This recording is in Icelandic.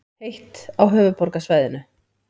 Heitt á höfuðborgarsvæðinu